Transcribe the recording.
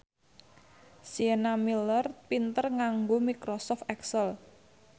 Sienna Miller pinter nganggo microsoft excel